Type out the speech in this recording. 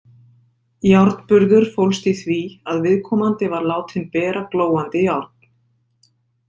Járnburður fólst í því að viðkomandi var látinn bera glóandi járn.